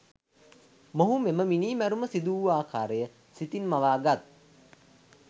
මොහු මෙම මිණිමැරුම සිදුවූ අකාරය සිතින් මවාගත්